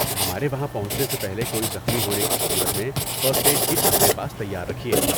ہمارے وہاں پہنچنے سے پہلے کوئی زخمی ہونے کی صورت میں فرسٹ ایڈ کٹ اپنے پاس تیار رکھیے